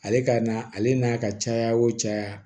Ale ka na ale n'a ka caya o caya